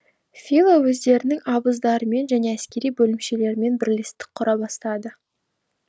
фила өздерінің абыздарымен және әскери бөлімшелерімен бірлестік құра бастады